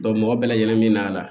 mɔgɔ bɛɛ lajɛlen min b'a la